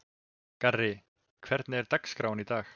Garri, hvernig er dagskráin í dag?